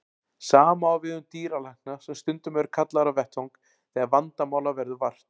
Sama á við um dýralækna sem stundum eru kallaðir á vettvang þegar vandamála verður vart.